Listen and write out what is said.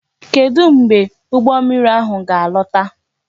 Kedu mgbe ụgbọ mmiri ahụ ga alọta?